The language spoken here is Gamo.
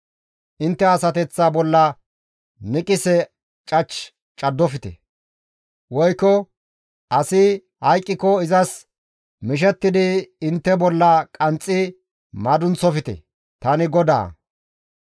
« ‹Intte asateththa bolla niqse cach caddofte; woykko asi hayqqiko izas mishettidi intte bolla qanxxi madunththofte; tani GODAA.